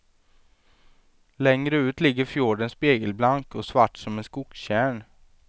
Längre ut ligger fjorden spegelblank och svart som en skogstjärn.